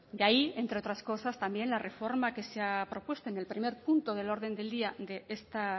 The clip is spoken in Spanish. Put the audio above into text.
y ahí entre otras cosas también la reforma que se ha propuesto en el primer punto del orden del día de esta